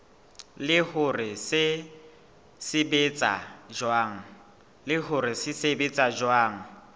le hore se sebetsa jwang